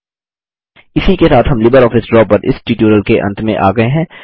इसी के साथ हम लिबरऑफिस ड्रा पर इस ट्यूटोरियल के अंत में आ गये हैं